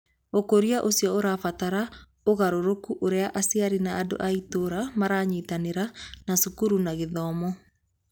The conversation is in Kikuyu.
Ũkũria ũcio ũrabatara ũgarũrũku ũrĩa aciari na andũ a itũũra maranyitanĩra na cukuru na gĩthomo.